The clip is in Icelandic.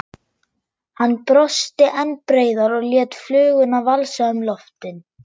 Hann brosti enn breiðar og lét fluguna valsa um loftin.